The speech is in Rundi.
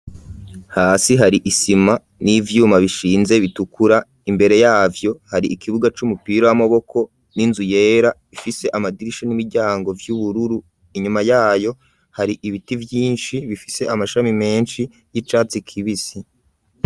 Hasi hari isima n'ivyuma bishinze bitukura imbere yavyo hari ikibuga c'umupira w'amaboko n'inzu yera ifise amadirisha n'imiryango vy'ubururu inyuma yayo hari ibiti vyinshi bifise amashami menshi y'icatsi kibisi.